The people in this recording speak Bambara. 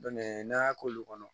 n'an y'a k'olu kɔnɔ